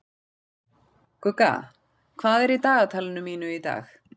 Gugga, hvað er í dagatalinu mínu í dag?